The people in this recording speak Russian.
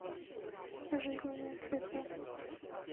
жизненные циклы